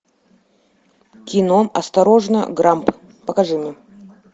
кино осторожно грамп покажи мне